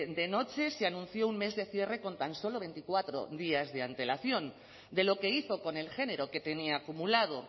de noche se anunció un mes de cierre con tan solo veinticuatro días de antelación de lo que hizo con el género que tenía acumulado